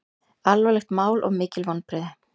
Alvarlegt mál og mikil vonbrigði